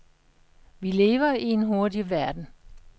Vi lever i en hurtig verden.